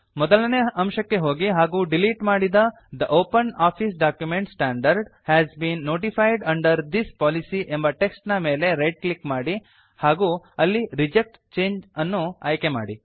ಮೊದಲನೇ ಅಂಶಕ್ಕೆ ಹೋಗಿ ಹಾಗೂ ಡಿಲೀಟ್ ಮಾಡಿದ the OpenOffice document standard has been notified under this policy ಎಂಬ ಟೆಕ್ಸ್ಟ್ ನ ಮೇಲೆ ರೈಟ್ ಕ್ಲಿಕ್ ಮಾಡಿ ಹಾಗೂ ಅಲ್ಲಿ ರಿಜೆಕ್ಟ್ ಚಂಗೆ ಅನ್ನು ಆಯ್ಕೆ ಮಾಡಿ